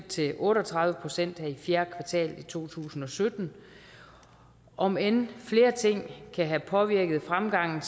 til otte og tredive procent i fjerde kvartal i to tusind og sytten om end flere ting kan have påvirket fremgangen